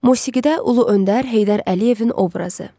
Musigidə Ulu Öndər Heydər Əliyevin obrazı.